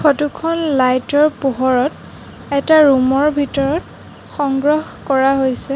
Photo খন light ৰ পোহৰত এটা ৰুম ৰ ভিতৰত সংগ্ৰহ কৰা হৈছে।